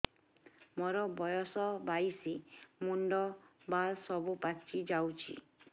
ମୋର ବୟସ ବାଇଶି ମୁଣ୍ଡ ବାଳ ସବୁ ପାଛି ଯାଉଛି